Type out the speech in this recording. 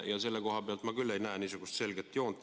Selle koha pealt ma küll ei näe niisugust selget joont.